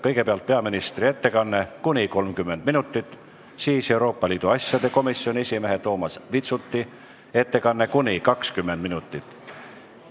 Kõigepealt on peaministri ettekanne kuni 30 minutit, siis Euroopa Liidu asjade komisjoni esimehe Toomas Vitsuti ettekanne kuni 20 minutit.